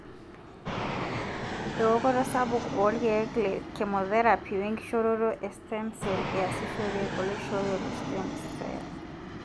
eokoto sapuk olkeek techemotherapy wenkishoroto e stem cell iasishore oloishoyo le stem stell.